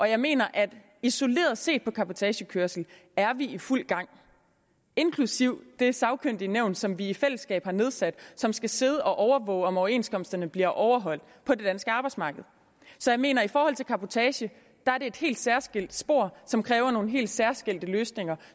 jeg mener at vi isoleret set med cabotagekørsel er i fuld gang inklusive det sagkyndige nævn som vi i fællesskab har nedsat og som skal sidde og overvåge om overenskomsterne bliver overholdt på det danske arbejdsmarked så jeg mener i forhold til cabotage er et helt særskilt spor som kræver nogle helt særskilte løsninger